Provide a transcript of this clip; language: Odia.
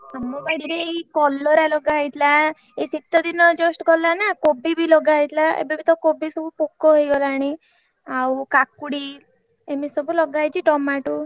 ଆମ ବାଡିରେ ଏଇ କଲରା ଲଗା ହେଇଥିଲା ଏଇ ଶୀତ ଦିନ just ଗଲାନା କୋବି ବି ଲଗା ହେଇଥିଲା ଏବେ ବି ତ କୋବି ସବୁ ପୋକ ହେଇଗଲାଣି ଆଉ କାକୁଡି ଏମିତି ସବୁ ଲଗା ହେଇଛି ଟମାଟୁ।